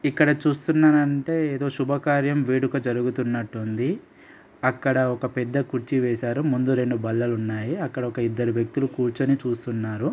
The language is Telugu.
ఇక్కడ చూస్తున్నానంటే ఏదో శుభకార్యం వేడుక జరుగుతున్నట్టుంది అక్కడ ఒక పెద్ద కుర్చీ వేశారు ముందు రెండు బల్లలున్నాయి అక్కడ ఒక ఇద్దరు వ్యక్తులు కూర్చొని చూస్తున్నారు.